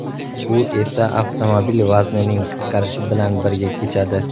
Bu esa avtomobil vaznining qisqarishi bilan birga kechadi.